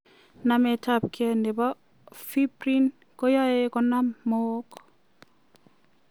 Nametab gee che bo Fibrin koae koyam mook.